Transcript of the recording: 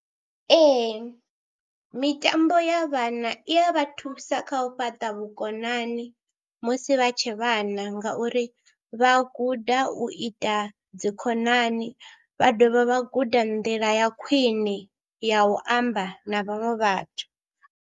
Ee mitambo ya vhana i ya vha thusa kha u fhaṱa vhukonani musi vha tshe vhana ngauri vha guda u ita dzi khonani, vha dovha vha guda nḓila ya khwine ya u amba na vhaṅwe vhathu.